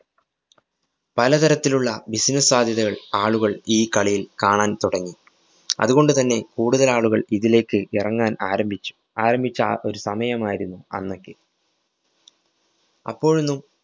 പലതരത്തിലുള്ള business സാധ്യതകള്‍ ആളുകള്‍ ഈ കളിയില്‍ കാണാന്‍ തുടങ്ങി. അതുകൊണ്ടു തന്നെ കൂടുതല്‍ ആളുകള്‍ ഇതിലേക്ക് ഇറങ്ങാന്‍ ആരംഭിച്ചു, ആരംഭിച്ച ആ ഒരു സമയമായിരുന്നു അന്നൊക്കെ. അപ്പോഴൊന്നും